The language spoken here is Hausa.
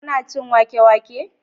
kuna cin wake wake?